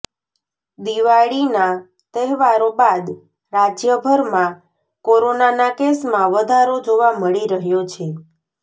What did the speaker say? દિવાળીના તહેવારો બાદ રાજ્યભરમાં કોરોનાના કેસમાં વધારો જોવા મળી રહ્યો છે